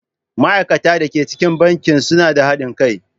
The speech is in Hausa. Ma'aikatan da ke cikin bankin suna ba da haɗin kai.